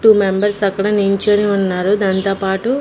two members అక్కడ నించొని ఉన్నారు దానితోపాటు--